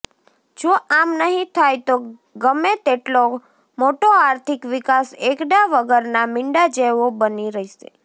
જો આમ નહીં થાય તો ગમેતેટલો મોટો આર્થિક વિકાસ એકડા વગરના મીંડા જેવો બની રહેશે